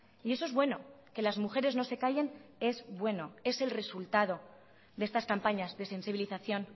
y eso es bueno que las mujeres no se callen es bueno es el resultado de estas campañas de sensibilización